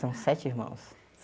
São sete irmãos.